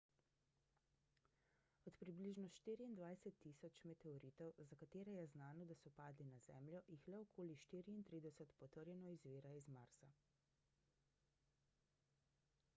od približno 24.000 meteoritov za katere je znano da so padli na zemljo jih le okoli 34 potrjeno izvira iz marsa